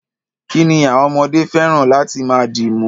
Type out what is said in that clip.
Kí ni àwọm ọmọdé fẹ́ràn láti máa dìmú?